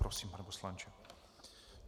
Prosím, pane poslanče.